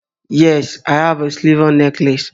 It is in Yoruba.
Yes, I have a silver necklace